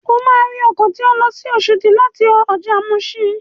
O máa rí ọkọ̀ tó ń lọ sí Oṣòdì láti ọjà muṣin.